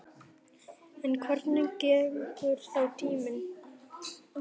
En hvernig gengur þá tíminn?